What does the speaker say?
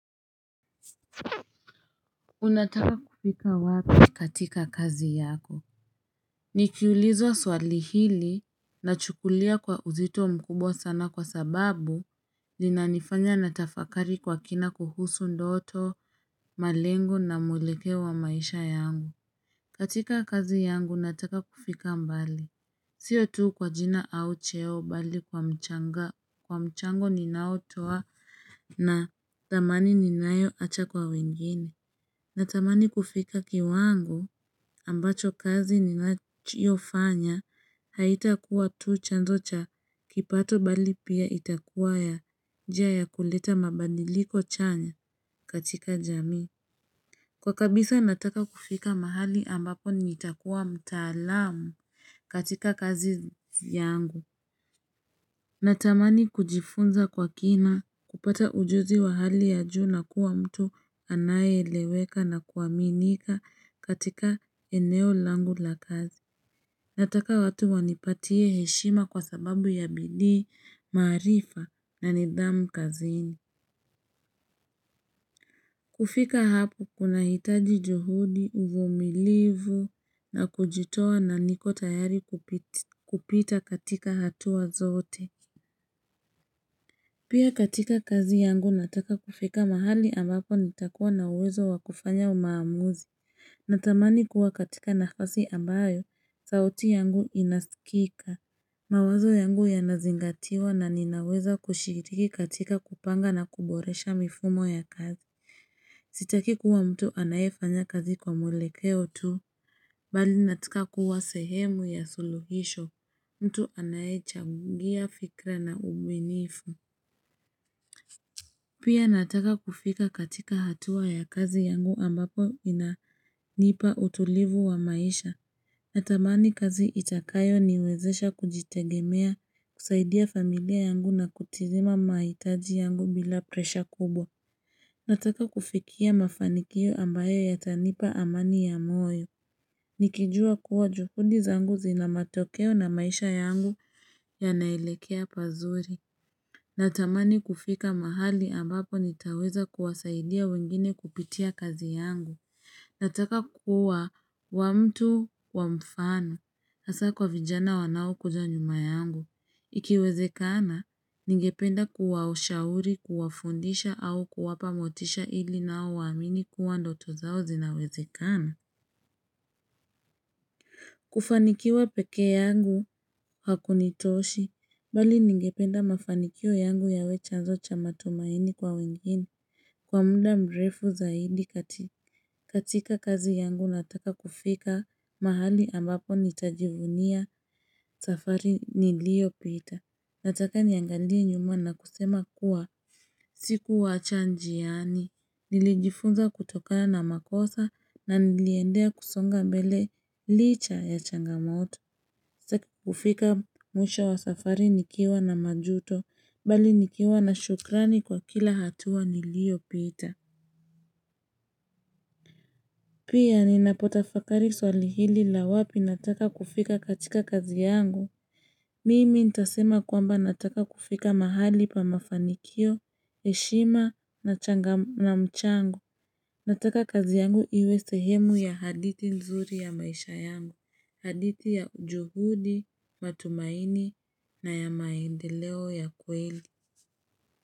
Unataka kufika wapi katika kazi yako. Nikiulizwa swali hili nachukulia kwa uzito mkubwa sana kwa sababu. Linanifanya natafakari kwa kina kuhusu ndoto, malengo na mwelekeo wa maisha yangu. Katika kazi yangu, nataka kufika mbali. Siyo tu kwa jina au cheo bali kwa mchango ninaotoa na thamani ninayoacha kwa wengine. Natamani kufika kiwango ambacho kazi ninayofanya haitakuwa tu chanzo cha kipato bali pia itakuwa njia ya kuleta mabadiliko chanya katika jamii. Kwa kabisa nataka kufika mahali ambapo nitakuwa mtaalamu katika kazi yangu. Natamani kujifunza kwa kina kupata ujuzi wa hali ya juu na kuwa mtu anayeleweka na kuaminika katika eneo langu la kazi. Nataka watu wanipatie heshima kwa sababu ya bidii maarifa na nidhamu kazini. Kufika hapo kunahitaji juhudi uvumilivu na kujitoa na niko tayari kupita katika hatua zote. Pia katika kazi yangu nataka kufika mahali ambapo nitakuwa na uwezo wa kufanya maamuzi, natamani kuwa katika nafasi ambayo, sauti yangu inasikika. Mawazo yangu yanazingatiwa na ninaweza kushiriki katika kupanga na kuboresha mifumo ya kazi. Sitaki kuwa mtu anayefanya kazi kwa mwelekeo tu, bali nataka kuwa sehemu ya suluhisho, mtu anayechangia fikra na ubunifu. Pia nataka kufika katika hatua ya kazi yangu ambapo inanipa utulivu wa maisha. Natamani kazi itakayoniwezesha kujitegemea, kusaidia familia yangu na kutimiza mahitaji yangu bila presha kubwa. Nataka kufikia mafanikio ambayo yatanipa amani ya moyo. Nikijua kuwa juhudi zangu zina matokeo na maisha yangu yanaelekea pazuri. Natamani kufika mahali ambapo nitaweza kuwasaidia wengine kupitia kazi yangu. Nataka kuwa mtu wa mfano. Hasa kwa vijana wanaokuja nyuma yangu. Ikiwezekana, ningependa kuwashauri kuwafundisha au kuwapa motisha ili nao waamini kuwa ndoto zao zinawezekana. Kufanikiwa peke yangu hakunitoshi. Bali ningependa mafanikio yangu yawe chanzo cha matumaini kwa wengine kwa muda mrefu zaidi. Katika kazi yangu nataka kufika mahali ambapo nitajivunia safari niliopita. Nataka niangalie nyuma na kusema kuwa sikuwaacha njiani. Nilijifunza kutokana makosa na niliendelea kusonga mbele licha ya changamoto. Kufika mwisha wa safari nikiwa na majuto, bali nikiwa na shukrani kwa kila hatua niliyopita. Pia ninapotafakari swali hili la wapi nataka kufika katika kazi yangu. Mimi ntasema kwamba nataka kufika mahali pa mafanikio, heshima na mchango nataka kazi yangu iwe sehemu ya hadithi nzuri ya maisha yangu hadithi ya juhudi matumaini na ya maendeleo ya kweli.